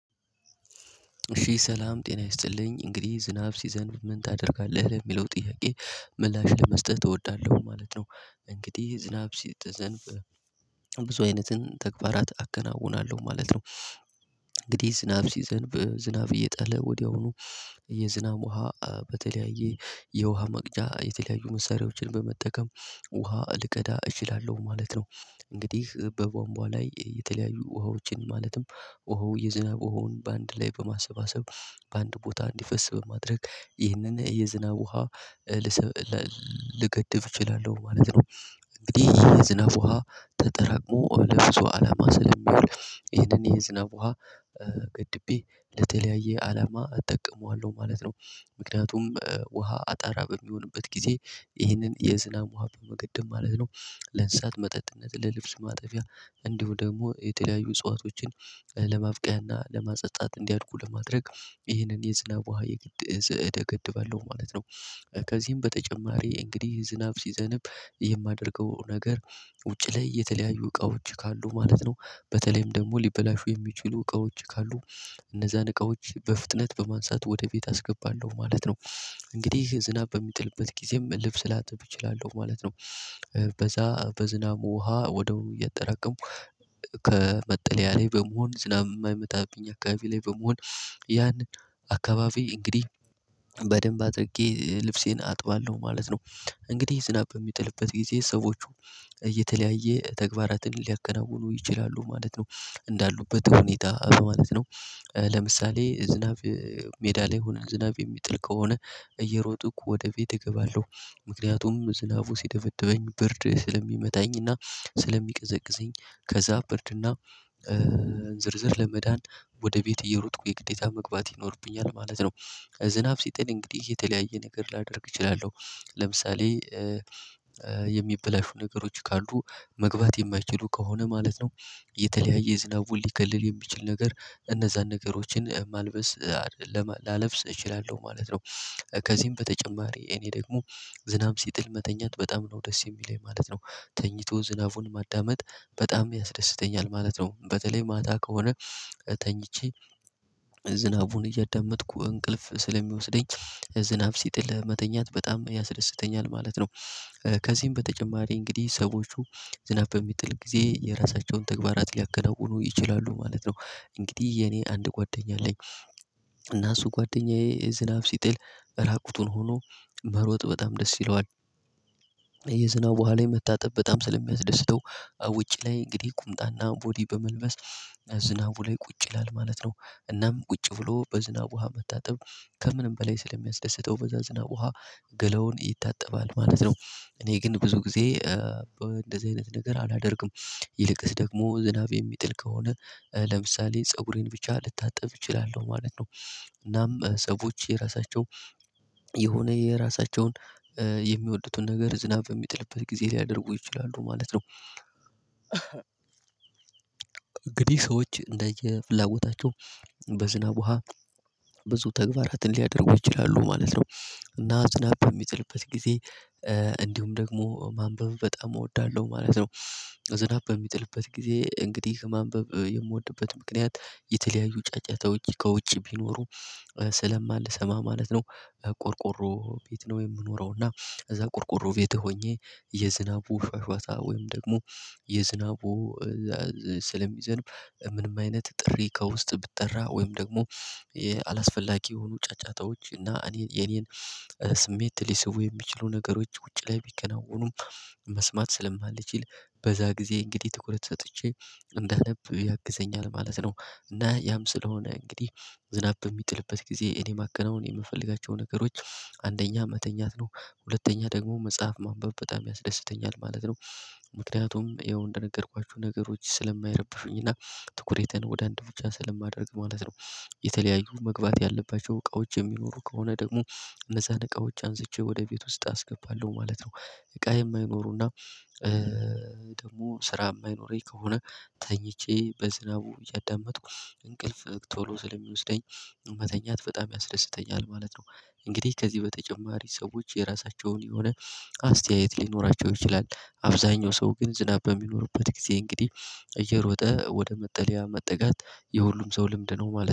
እሺ ሰላም ጤና ይስጥልኝ እንግዲህ ዝናብ ሲዘንብ ምን ታደርጋለህ? ለሚለው ጥያቄ ምላሽ ለመስጠት እወዳለሁ ማለት ነው። እንግዲህ ዝናብ ሲጥጠዘብ ብዙ አይነትን ተግባራት አከናውናለሁ ማለት ነው። እንግዲህ ዝናብ ሲዘንብ ዝናብ እየጣለ ወዲያውኑ የዝናብ ውሃ በተለያየ የውሃ መቅጃ የተለያዩ መሳሪያዎችን በመጠቀም ውሃ ልቀዳ እችላለሁ ማለት ነው። እንግዲህ በቧንቧ ላይ የተለያዩ ውሃዎችን ማለትም ውሃው የዝናብ ውሃውን በአንድ ላይ በማሰባሰብ በአንድ ቦታ እንዲፈስ በማድረግ ይህንን የዝናብ ውሃ ልገድብ እችላለሁ ማለት ነው። እንግዲህ የዝናብ ውሃ ተጠራቅሞ ለብዙ አላማ ስለሚውል ይሄንን የዝናብ ውሃ ገድቤ ለተለያየ አላማ እጠቀመዋለሁ ማለት ነው። ምክንያቱም ውሃ አጣራ በሚሆንበት ጊዜ ይህንን የዝናብ ውሃ በመገደብ ማለት ነው ለንሳት መጠጥነት ለልብስ ማጠቢያ እንዲሁ ደግሞ የተለያዩ እጽዋቶችን ለማብቀያና ለማጠጣት እንዲያድጉ ለማድረግ ይህንን የዝናብ ውሃ የግድ እሰ እደገድባለሁ ባለው ማለት ነው። ከዚህም በተጨማሪ እንግዲህ ዝናብ ሲዘንብ የማደርገው ነገር ውጪ ላይ የተለያዩ እቃዎች ካሉ ማለት ነው በተለይም ደግሞ ሊበላሹ የሚችሉ እቃዎች ካሉ እነዛን እቃዎች በፍጥነት በማንሳት ወደ ቤት አስገባለሁ ማለት ነው። እንግዲህ ዝናብ በሚጥልበት ጊዜም ልብስ ላጥብ እችላለሁ ማለት ነው። በዛ በዝናብ ውሃ ወደው እየተረከሙ ከመጠለያ ላይ በመሆን ዝናብ የማይመጣብኝ አካባቢ ላይ በመሆን ያን አካባቢ እንግዲህ በደንብ አድርጌ ልብሴን አጥባለሁ ማለት ነው። እንግዲህ ዝናብ በሚጥልበት ጊዜ ሰዎቹ እ የተለያየ ተግባራትን ሊያከናውኑ ይችላሉ ማለት ነው። እንዳሉበት ሁኔታ ማለት ነው። ለምሳሌ ዝናብ ሜዳ ላይ ሁነን ዝናብ የሚጥል ከሆነ እየሮጥኩ ወደ ቤቴ እገባለሁ። ምክንያቱም ዝናቡ ሲደበድበኝ ብርድ ስለሚመታኝና ስለሚቀዘቅዘኝ ከዛ ብርድና ዝርዝር ለመዳን ወደ ቤት እየሮጥኩ የግዴታ መግባት ይኖርብኛል ማለት ነው። ዝናብ ሲጥል እንግዲህ የተለያየ ነገር ላደርግ እችላለሁ ለምሳሌ የሚበላሹ ነገሮች ካሉ መግባት የማይችሉ ከሆነ ማለት ነው። የተለያየ ዝናቡን ሊከልል የሚችል ነገር እነዛን ነገሮችን ማልበስ ላለብስ እችላለሁ ማለት ነው። ከዚህም በተጨማሪ እኔ ደግሞ ዝናብ ሲጥል መተኛት በጣም ነው ደስ የሚለኝ ማለት ነው። ተኝቶ ዝናቡን ማዳመጥ በጣም ያስደስተኛል ማለት ነው። በተለይ ማታ ከሆነ ተኝቼ ዝናቡን እያዳመጥኩ እንቅልፍ ስለሚወስደኝ ዝናብ ሲጥል መተኛት በጣም ያስደስተኛል ማለት ነው። ከዚህም በተጨማሪ እንግዲህ ሰዎቹ ዝናብ በሚጥል ጊዜ የራሳቸውን ተግባራት ሊያከናውኑ ይችላሉ ማለት ነው። እንግዲህ የኔ አንድ ጓደኛ አለኝ። እና እሱ ጓደኛዬ ዝናብ ሲጥል ራቁቱን ሆኖ መሮጥ በጣም ደስ ይለዋል። የዝናብ ውሃ ላይ መታጠብ በጣም ስለሚያስደስተው ውጭ ላይ እንግዲህ ቁምጣና ቦዲ በመልበስ ዝናቡ ላይ ቁጭ ይላል ማለት ነው። እናም ቁጭ ብሎ በዝናብ ውሃ መታጠብ ከምንም በላይ ስለሚያስደስተው በዛ ዝናብ ውሃ ገለውን ይታጠባል ማለት ነው። እኔ ግን ብዙ ጊዜ እንደዚህ አይነት ነገር አላደርግም። ይልቅስ ደግሞ ዝናብ የሚጥል ከሆነ ለምሳሌ ፀጉሬን ብቻ ልታጠብ እችላለሁ ማለት ነው። እናም ሰዎች የራሳቸው የሆነ የራሳቸውን የሚወዱትን ነገር ዝናብ በሚጥልበት ጊዜ ሊያደርጉ ይችላሉ ማለት ነው። እንግዲህ ሰዎች እንደየፍላጎታቸው በዝናብ ውሃ ብዙ ተግባራትን ሊያደርጉ ይችላሉ ማለት ነው። እና ዝናብ በሚጥልበት ጊዜ እንዲሁም ደግሞ ማንበብ በጣም እወዳለሁ ማለት ነው። ዝናብ በሚጥልበት ጊዜ እንግዲህ ማንበብ የምወድበት ምክንያት የተለያዩ ጫጫታዎች ከውጪ ቢኖሩ ስለማልሰማ ማለት ነው። ቆርቆሮ ቤት ነው የምኖረው እና ከዛ ቆርቆሮ ቤት ሆኜ የዝናቡ ሿሿታ ወይም ደግሞ የዝናቡ ስለሚዘንብ ምንም አይነት ጥሪ ከውስጥ ብጠራ ወይም ደግሞ አላስፈላጊ የሆኑ ጫጫታዎች እና እኔ የኔን ስሜት ሊስቡ የሚችሉ ነገሮች ውጪ ላይ ቢከናወኑም መስማት ስለማልችል በዛ ጊዜ እንግዲህ ትኩረት ሰጥቼ እንዳነብ ያግዘኛል ማለት ነው። እና ያም ስለሆነ እንግዲህ ዝናብ በሚጥልበት ጊዜ እኔ ማከናወን የምፈልጋቸው ነገሮች አንደኛ መተኛት ነው። ሁለተኛ ደግሞ መጽሐፍ ማንበብ በጣም ያስደስተኛል ማለት ነው። የሆነ የራሳቸውን የሚወዱትን ነገር ዝናብ በሚጥልበት ጊዜ ሊያደርጉ ይችላሉ ማለት ነው። የተለያዩ መግባት ያለባቸው እቃዎች የሚኖሩ ከሆነ ደግሞ እነዛን እቃዎች አንስቼ ወደ ቤት ውስጥ አስገባለሁ ማለት ነው። እቃ የማይኖሩና ደግሞ ስራ የማይኖረኝ ከሆነ ተኝቼ በዝናቡ እያዳመጥኩ እንቅልፍ ቶሎ ስለሚወስደኝ መተኛት በጣም ያስደስተኛል ማለት ነው። እንግዲህ ከዚህ በተጨማሪ ሰዎች የራሳቸውን የሆነ አስተያየት ሊኖራቸው ይችላል። አብዛኛው ሰው ግን ዝናብ በሚኖርበት ጊዜ እንግዲህ እየሮጠ ወደ መጠለያ መጠጋት የሁሉም ሰው ልምድ ነው ማለት ነው